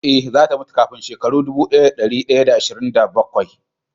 Ee, za ta mutu kafin shekaru dubu ɗaya da ɗari shida da ashirin da bakwai